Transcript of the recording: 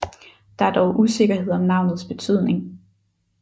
Der er dog usikkerhed om navnets betydning